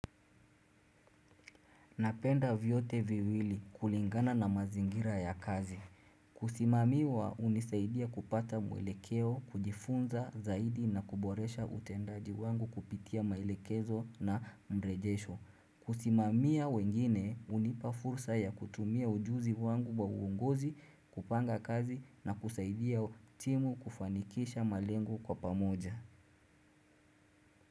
Napenda vyote viwili kulingana na mazingira ya kazi. Kusimamiwa unisaidia kupata mwelekeo kujifunza zaidi na kuboresha utendaji wangu kupitia mailekezo na mrejesho. Kusimamiwa wengine unipa fursa ya kutumia ujuzi wangu wa uungozi kupanga kazi na kusaidia timu kufanikisha malengu kwa pamoja.